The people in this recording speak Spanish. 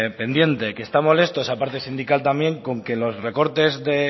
pendiente que está molesto esa parte sindical también con que los recortes